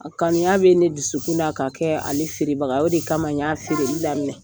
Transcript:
A Kanuya bɛ ne dusukun na k'a kɛ ale feerebaga ye o de kama y'a feereli aminɛ